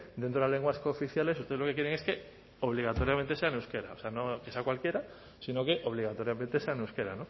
dentro de las lenguas cooficiales ustedes lo que quieren es que obligatoriamente sea en euskera o sea no que sea en cualquiera sino que obligatoriamente sea en euskera